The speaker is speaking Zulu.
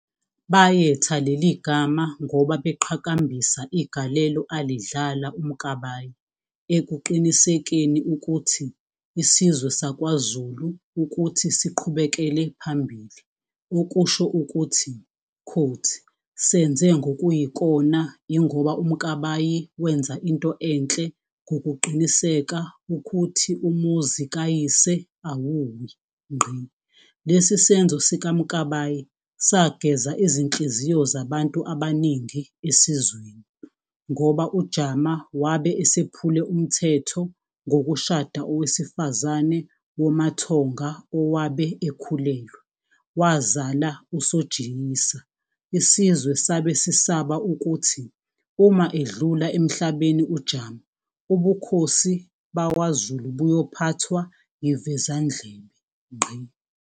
Bayetha leli gama ngoba beqhakambisa igalelo alidlala uMkabayi ekuqinisekeni ukuthi isizwe sakwaZulu ukuthi siqhubekele phambili, okusho ukuthi "senze ngokuyikona ingoba uMkabayi wenza into enhle ngokuqiniseka ukhuthi umuzi kayise awuwi."Lesi senzo sikaMkabayi sageza izinhliziyo zabantu abaningi esizweni, ngoba uJama wabe esephule umthetho ngokushada owesifazane womaThonga owabe ekhulelwe, wazala uSojiyisa, isizwwe sabe sisaba ukuthi uma edlula emhlabeni uJama ubukhosi bwaZulu buyophathwa yivezandlebe.